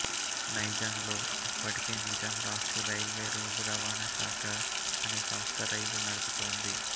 నైజాంలో అప్పటికే నిజాం రాష్ట్ర railway road రవాణా శాఖ అనే సంస్థ రైళ్ళు నడుపుతోంది